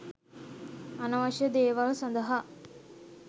අනවශ්‍ය දේවල් සඳහා